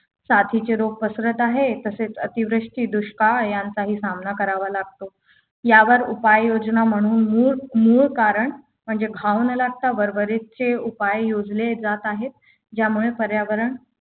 साथीचे रोग पसरत आहेत तसेच दुष्काळ यांचाही सामना करावा लागतो यावर उपाययोजना म्हणून मूळ मूळ कारण म्हणजे घाव न लागता वर वरचे उपाय योजले जात आहेत ज्यामुळे पर्यावरण